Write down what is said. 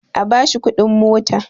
A bashi kudin mota!